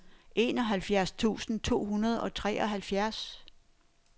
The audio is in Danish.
enoghalvfjerds tusind to hundrede og treoghalvfjerds